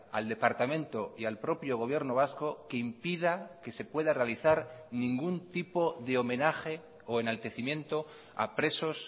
al departamento y al propio gobierno vasco que impida que se pueda realizar ningún tipo de homenaje o enaltecimiento a presos